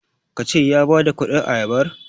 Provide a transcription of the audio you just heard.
ka ce ya badakudin ayabar?